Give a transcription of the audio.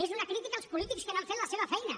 és una crítica als polítics que no han fet la seva feina